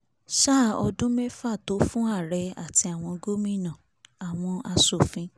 sáà ọdún mẹ́fà tó fún ààrẹ àti àwọn gómìnààwọn asòfin